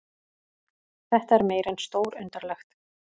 Þetta er meira en stórundarlegt